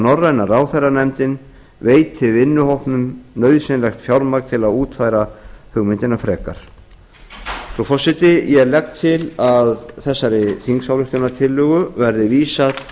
norræna ráðherranefndin veiti vinnuhópnum nauðsynlegt fjármagn til að útfæra hugmyndina frekar frú forseti ég legg til að þessari þingsályktunartillögu verði vísað